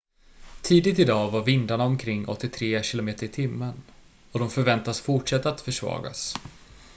tidigt i dag var vindarna omkring 83 km/h och de förväntades fortsätta att försvagas